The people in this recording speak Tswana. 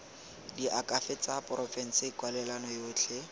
diakhaefe tsa porofense kwalelano yotlhe